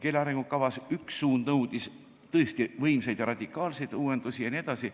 Üks suund nõudis keele arengukavas tõesti võimsaid ja radikaalseid uuendusi jne.